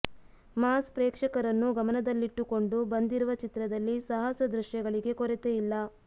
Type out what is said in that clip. mass ಪ್ರೇಕ್ಷಕರನ್ನು ಗಮನದಲ್ಲಿಟ್ಟು ಕೊಂಡು ಬಂದಿರುವ ಚಿತ್ರದಲ್ಲಿ ಸಾಹಸ ದೃಶ್ಯಗಳಿಗೆ ಕೊರತೆ ಯಿಲ್ಲ